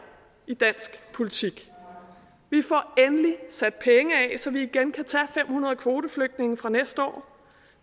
i dansk politik vi får endelig sat penge af så vi igen kan tage fem hundrede kvoteflygtninge fra næste år